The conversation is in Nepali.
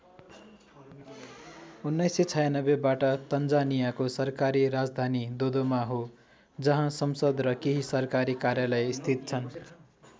१९९६बाट तन्जानियाको सरकारी राजधानी दोदोमा हो जहाँ संसद र केही सरकारी कार्यालय स्थित छन्।